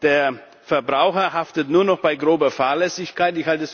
Der Verbraucher haftet nur noch bei grober Fahrlässigkeit.